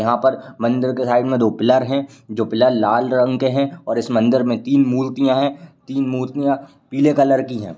यहाँ पर मंदिर के साइड में दो पिलर है जो पिलर लाल रंग के है और इस मंदिर में तीन मूर्तियाँ हैं। तीन मूर्तियाँ पीले कलर की हैं।